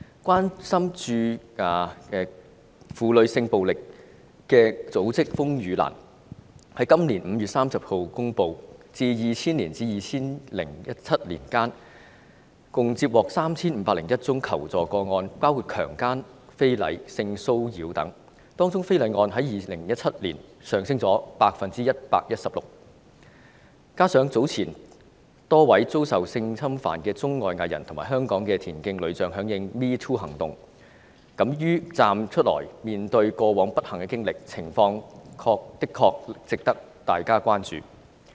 關注婦女性暴力的組織——風雨蘭，於今年5月30日公布，由2000年至2017年間，共接獲 3,501 宗求助個案，包括強姦、非禮及性騷擾等，當中非禮案在2017年上升了 116%， 加上早前多位遭受性侵犯的中、外藝人和香港的田徑女將響應 "#MeToo" 行動，敢於站出來面對過往不幸的經歷，情況的確值得大家關注。